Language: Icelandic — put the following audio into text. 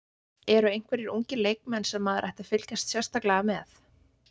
Eru einhverjir ungir leikmenn sem maður ætti að fylgjast sérstaklega með?